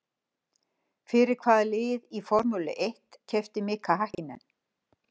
Fyrir hvaða lið í Formúlu eitt keppti Mika Hakkinen?